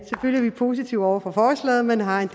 er vi positive over for forslaget men har en